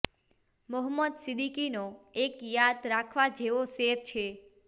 મોહંમદ સિદ્દીકીનો એક યાદ રાખવા જેવો શેર છે